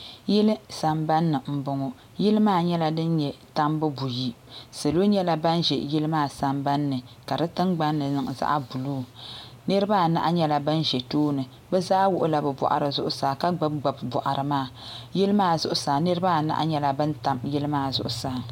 yili sambanni n bɔŋɔ yili maa nyɛla din nyɛ tambu buyi salo nyɛla ban ʒɛ yili maa sambanni ka di tingbanni niŋ zaɣ buluu niraba anahi nyɛla bin ʒɛ tooni bi zaa wuɣula bi boɣari zuɣusaa ka gbubi gbubi boɣari maa yili maa zuɣusaa niraba anahi nyɛla bin tam yili maa zuɣusaa